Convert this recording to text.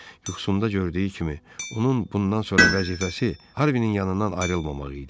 Yuxusunda gördüyü kimi, onun bundan sonra vəzifəsi Harvinin yanından ayrılmamaq idi.